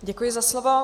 Děkuji za slovo.